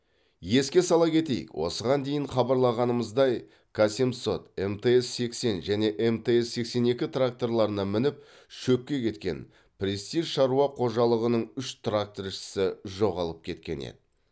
еске сала кетейік осыған дейін хабарлағанымыздай к семсот мтз сексен және мтз сексен екі тракторларына мініп шөпке кеткен престиж шаруа қожалығының үш тракторшысы жоғалып кеткен еді